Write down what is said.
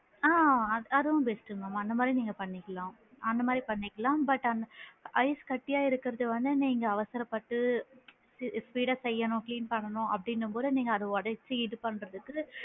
ஆ அதுவும் best mam அந்த மாதிரி நீங்க பண்ணிக்கலாம், அந்த மாதிரி பண்ணிக்கலாம் but ஐஸ் கட்டியா இருக்கிறத வந்து நீங்க அவசரப்பட்டு speed டா செய்யணும் clean பண்ணனும் அப்படின்னும் போது நீங்க அத உடச்சு இது பண்றதுக்கு.